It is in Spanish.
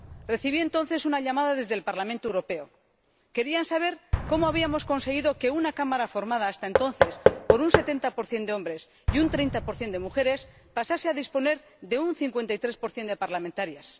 Recibí entonces una llamada desde el Parlamento Europeo querían saber cómo habíamos conseguido que una Cámara formada hasta entonces por un 70 de hombres y un 30 de mujeres hubiese pasado a disponer de un 53 de parlamentarias.